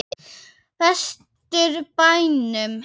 Vestur bænum.